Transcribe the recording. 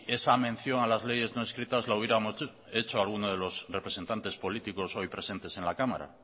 esa mención a las leyes no escritas la hubiéramos hecho algunos de los representantes políticos hoy presentes en la cámara